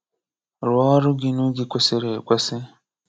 Rụọ ọrụ gị n'oge kwesịrị ekwesị